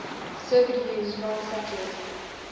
circuit used non saturated